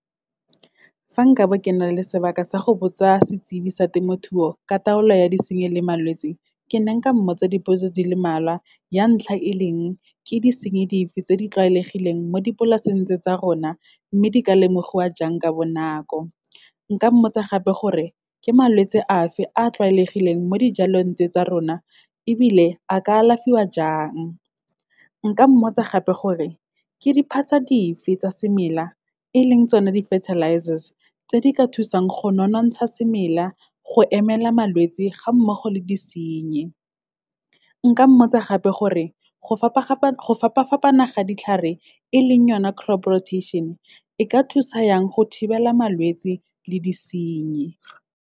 Fa nka bo ke na le sebaka sa go botsa setsibi sa temothuo, ka taolo ya disenyi le malwetse, ke ne nka mmotsa dipotso di le malwa. Ya ntlha, e leng, ke di senye dife tse di tlwaelegileng mo dipolaseng tse tsa rona, mme di ka lemogiwa jang ka bonako? Nka mmotsa gape gore, ke malwetse a fe a tlwaelegileng mo dijalong tse tsa rona, ebile a ka alafiwa jang? Nka mmotsa gape gore, ke diphatsa dife tsa semela, e leng tsone di-fertilizers, tse di ka thusang go nonontsha semela, go emela malwetse ga mmogo le disenyi? Nka mmotsa gape gore, go fapa-fapana ga ditlhare, e leng yone crop rotation, e ka thusa yang go thibela malwetse le disenyi.